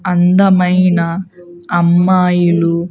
అందమైన అమ్మాయిలు.